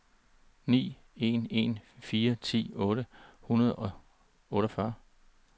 ni en en fire ti otte hundrede og otteogfyrre